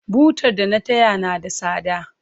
Butar da na taya na da tsada.